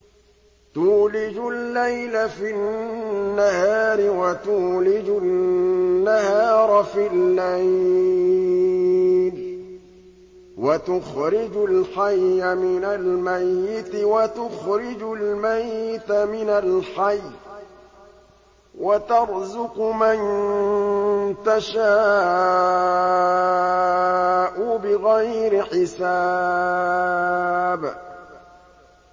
تُولِجُ اللَّيْلَ فِي النَّهَارِ وَتُولِجُ النَّهَارَ فِي اللَّيْلِ ۖ وَتُخْرِجُ الْحَيَّ مِنَ الْمَيِّتِ وَتُخْرِجُ الْمَيِّتَ مِنَ الْحَيِّ ۖ وَتَرْزُقُ مَن تَشَاءُ بِغَيْرِ حِسَابٍ